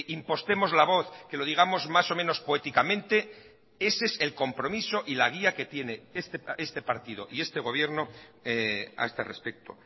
impostemos la voz que lo digamos más o menos poéticamente ese es el compromiso y la guía que tiene este partido y este gobierno a este respecto